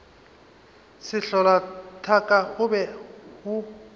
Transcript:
sehlola thaka o be o